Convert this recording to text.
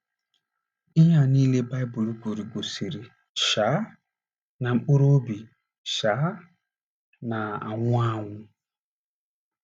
Ihe a niile Baịbụl kwuru gosiri um na mkpụrụ obi um na - anwụ anwụ.